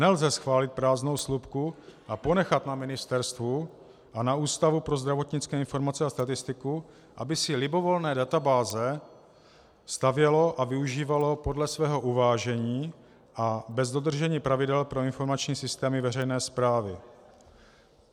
Nelze schválit prázdnou slupku a ponechat na ministerstvu a na Ústavu pro zdravotnické informace a statistiku, aby si libovolné databáze stavěly a využívaly podle svého uvážení a bez dodržení pravidel pro informační systémy veřejné správy.